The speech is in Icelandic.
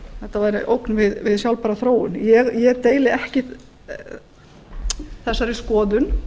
þetta væri ógn við sjálfbæra þróun ég deili ekki þessari skoðun